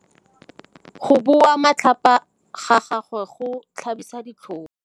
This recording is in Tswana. Go bua matlhapa ga gagwe go tlhabisa ditlhong.